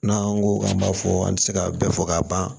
N'an ko k'an b'a fɔ an tɛ se ka bɛɛ fɔ ka ban